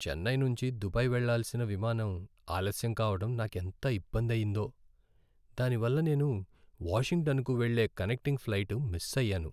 చెన్నై నుంచి దుబాయ్ వెళ్లాల్సిన విమానం ఆలస్యం కావడం నాకెంత ఇబ్బంది అయ్యిందో, దానివల్ల నేను వాషింగ్టన్కు వెళ్ళే కనెక్టింగ్ ఫ్లైట్ మిస్ అయ్యాను.